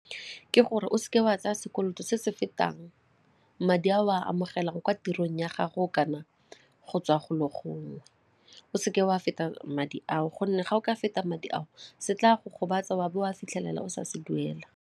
Ke gore o seke wa tsaya sekoloto se se fetang madi a o a amogelang kwa tirong ya gago kana go tswa go lo gongwe, o seke wa feta madi ao gonne ga o ka feta madi ao se tla go gobatsa wa bo o a fitlhelela o sa se duela.